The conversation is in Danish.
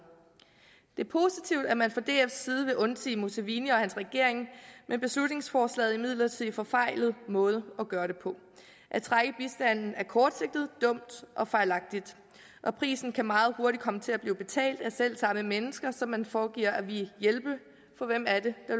det er positivt at man fra dfs side vil undsige museveni og hans regering men beslutningsforslaget er imidlertid en forfejlet måde at gøre det på at trække bistanden er kortsigtet dumt og fejlagtigt og prisen kan meget hurtigt komme til at blive betalt af selv samme mennesker som man foregiver at ville hjælpe for hvem er det der